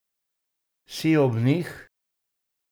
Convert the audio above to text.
Si ob njih.